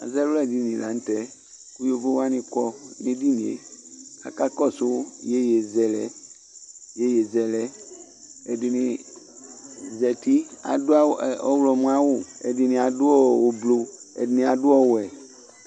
ɑluɛdini lɑnutɛ ɑkɔ nɛdiniɛ kɑkɔdu iyɛyɛzɛlɛ ɛdini zɑti ɑdu ɔhlomo ɑwu ɛdiniɑdu ωblu ɛdiniɑdu ɔwɛ